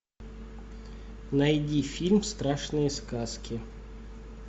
найди фильм страшные сказки